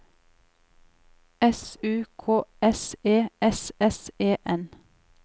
S U K S E S S E N